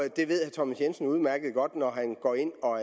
thomas jensen udmærket godt når han går ind og